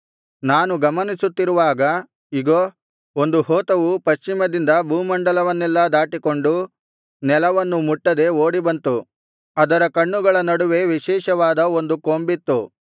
ನಾನು ಗಮನಿಸುತ್ತಿರುವಾಗ ಇಗೋ ಒಂದು ಹೋತವು ಪಶ್ಚಿಮದಿಂದ ಭೂಮಂಡಲವನ್ನೆಲ್ಲಾ ದಾಟಿಕೊಂಡು ನೆಲವನ್ನು ಮುಟ್ಟದೆ ಓಡಿ ಬಂತು ಅದರ ಕಣ್ಣುಗಳ ನಡುವೆ ವಿಶೇಷವಾದ ಒಂದು ಕೊಂಬಿತ್ತು